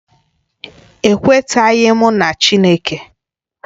Ekwetaghị m na Chineke